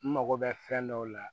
N mago bɛ fɛn dɔw la